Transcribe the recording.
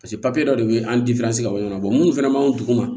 paseke papiye dɔ de be an ka bɔ ɲɔgɔn na munnu fɛnɛ ma duguma